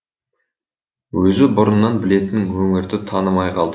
өзі бұрыннан білетін өңірді танымай қалды